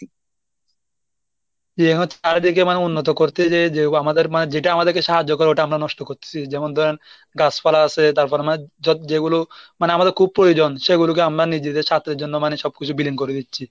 জি হচ্ছে চারদিকে মানে উন্নত করতে যেয়ে যে আমাদের মানে যেটা আমাদেরকে সাহায্য করে ওটা আমরা নষ্ট করতেসি যেমন ধরেন গাছপালা আছে তারপর আমরা যা~ যেগুলো মানে আমাদের খুব প্রয়োজন সেগুলোকে আমরা নিজেদের স্বার্থের জন্য মানে সবকিছু বিলীন করে দিচ্ছি।